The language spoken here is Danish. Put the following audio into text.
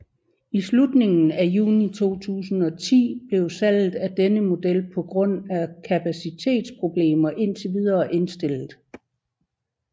I slutningen af juni 2010 blev salget af denne model på grund af kapacitetsproblemer indtil videre indstillet